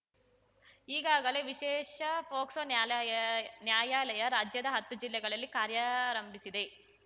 ಈಗಾಗಲೇ ವಿಶೇಷ ಫೋಕ್ಸೋ ನ್ಯಾಲಯ ನ್ಯಾಯಾಲಯ ರಾಜ್ಯದ ಹತ್ತು ಜಿಲ್ಲೆಗಳಲ್ಲಿ ಕಾರ್ಯಾರಂಭಿಸಿವೆ